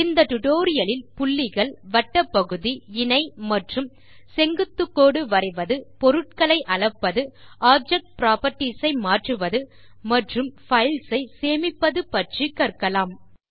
இந்த டுடோரியலில் புள்ளிகள் வட்டப் பகுதி இணை மற்றும் செங்குத்து கோடுகள் வரைவது பொருட்களை அளப்பது ஆப்ஜெக்ட் புராப்பர்ட்டீஸ் ஐ மாற்றுவது மற்றும் பைல் ஐ சேமிப்பது பற்றிக் கற்கலாம்